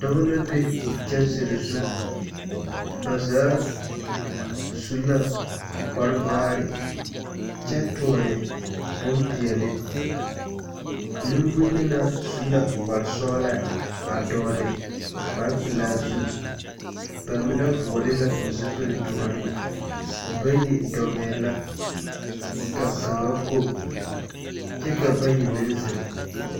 Dɔba la be kyansere zu. Ba zaa su la kparo vaare kyɛ toɔne bompeɛle. Nemboyena su la kpar sɔɔla a dɔɔle kparpelaa zu. Ba mine vɔɔle la zupili doɔre. Bayi dɔgɛɛ la, ka kaŋa go, kyɛ ka bayi meŋ zeŋ.